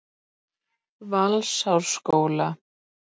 Valsárskóla